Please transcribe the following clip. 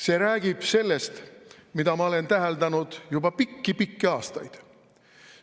See räägib sellest, mida ma olen täheldanud juba pikki-pikki aastaid.